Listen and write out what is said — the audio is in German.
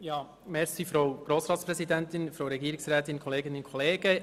Das Wort hat der Antragsteller, Grossrat Guggisberg.